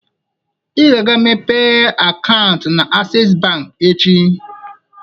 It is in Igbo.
Ị ga-aga meepe akaụntụ na Asess bank echi